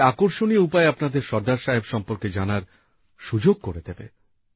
এটি আকর্ষণীয় উপায়ে আপনাকে সর্দার সাহেব সম্পর্কে জানার সুযোগ করে দেবে